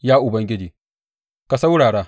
Ya Ubangiji, ka saurara!